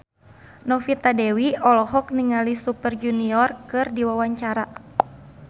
Novita Dewi olohok ningali Super Junior keur diwawancara